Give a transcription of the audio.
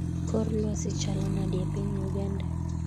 Kor lwasi chalo nade epiny Uganda